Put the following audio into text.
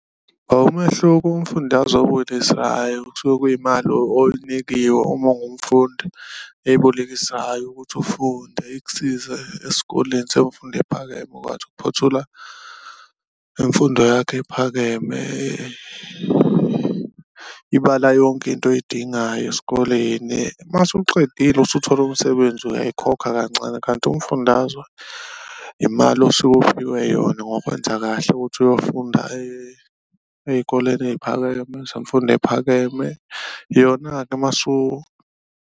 Umehluko umfundazwe owubonisayo kusuke kuyimali oyinikiwe uma ungumfundi ebolekisayo ukuthi ufunde, ikusize esikoleni semfundo ephakeme ukuphothula imfundo yakho ephakeme, ibala yonke into oyidingayo esikoleni uma usuqedile usuthole umsebenzi uyayikhokha kancane. Kanti umfundazwe imali osuke uphiwe yona ngokwenza kahle ukuthi uyofunda ey'koleni eyiphakeme zemfundo ephakeme yona-ke .